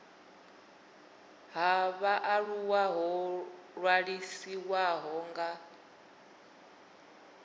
ha vhaaluwa ho ṅwalisiwaho nga